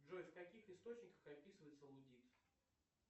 джой в каких источниках описывается лудит